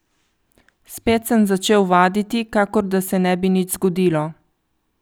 Spet sem začel vaditi, kakor da se ne bi nič zgodilo.